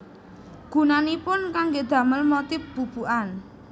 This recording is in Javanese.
Gunanipun kanggé damel motif bubukan